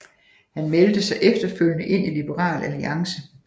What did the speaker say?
Han meldte sig efterfølgende ind i Liberal Alliance